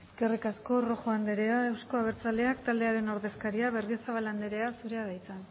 eskerrik asko rojo anderea euzko abertzaleak taldearen ordezkaria berriozabal anderea zurea da hitza